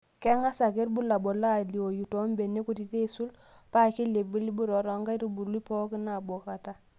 Keng'as ake irbulabul aalioyu too mbenek kutitik aisul, paa kelibilibu taa enkaitubului pooki nabokata.